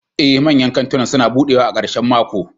Ee, manyan kantunan suna buɗewa a ƙarshen mako.